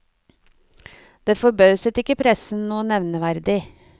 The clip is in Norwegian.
Det forbauset ikke pressen noe nevneverdig.